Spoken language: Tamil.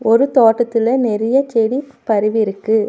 ஒரு தோட்டத்துல நெறைய செடி பரவிருக்கு.